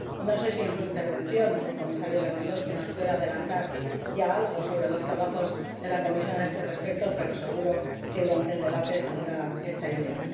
No sé si, en su intervención, el Comisario Lewandowski nos puede adelantar ya algo sobre los trabajos de la Comisión a este respecto, pero seguro que, durante el debate, se planteará esta idea.